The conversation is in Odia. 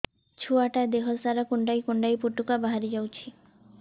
ଛୁଆ ଟା ଦେହ ସାରା କୁଣ୍ଡାଇ କୁଣ୍ଡାଇ ପୁଟୁକା ବାହାରି ଯାଉଛି